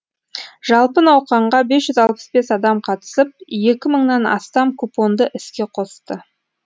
жалпы науқанға бес жүз алпыс бес адам қатысып екі мыңнан астам купонды іске қосты